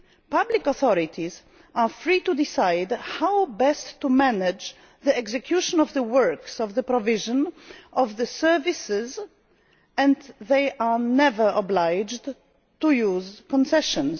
Public authorities are free to decide how best to manage the execution of the works and the provision of the services, and they are never obliged to use concessions.